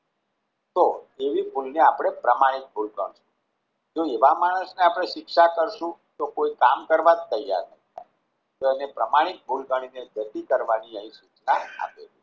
તો તેવી ભૂલ ને આપણે પ્રમાણિક ભૂલ સમજવી જોઈએ. જો એવા માણસને આપણે શિક્ષા કરશું તો કોઈ કામ કરવા જ ત્યાર ન થાય તો તેને પ્રમાણિક ભૂલ ગણીને જતી કરવાની અહીં સૂચના આપેલી છે.